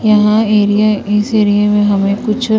यहां एरिया इस एरिया में हमें कुछ--